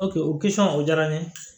o o diyara n ye